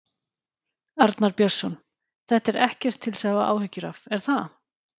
Arnar Björnsson: Þetta er ekkert til að hafa áhyggjur af, er það?